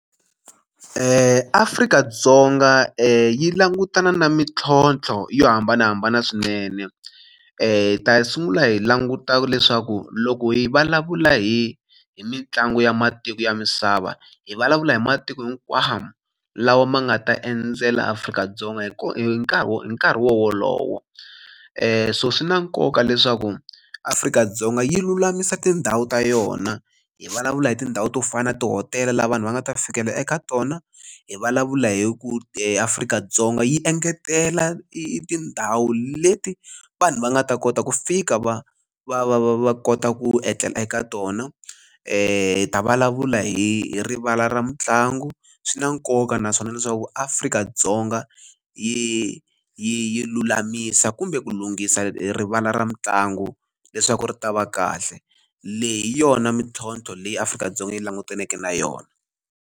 Afrika-Dzonga yi langutana na mintlhontlho yo hambanahambana swinene hi ta sungula hi languta leswaku loko hi vulavula hi hi mitlangu ya matiko ya misava hi vulavula hi matiko hinkwawo lawa ma nga ta endzela Afrika-Dzonga hi hi nkarhi wolowo so swi na nkoka leswaku Afrika-Dzonga yi lulamisa tindhawu ta yona hi vulavula hi tindhawu to fana na tihotela laha vanhu va nga ta fikela eka tona hi vulavula hi ku Afrika-Dzonga yi engetela i tindhawu leti vanhu va nga ta kota ku fika va va va va va kota ku etlela eka tona hi ta vulavula hi rivala ra mitlangu swi na nkoka naswona leswaku Afrika-Dzonga yi yi lulamisa kumbe ku lunghisa rivala ra mitlangu leswaku ri ta va kahle leyi hi yona mintlhontlho leyi Afrika-Dzonga yi langutaneke na yona.